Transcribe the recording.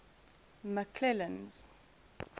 mcclennan's